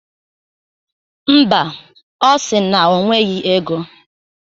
Mba, ọ si na o nweghi ego.